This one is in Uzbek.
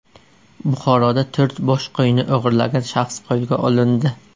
Buxoroda to‘rt bosh qo‘yni o‘g‘irlagan shaxs qo‘lga olindi.